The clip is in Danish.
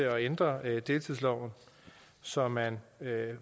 at ændre deltidsloven så man